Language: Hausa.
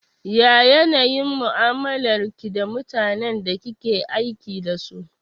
Ya yanayin mu'amalar ki da mutanen da kike aiki dasu?